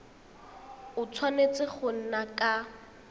a tshwanetse go nna ka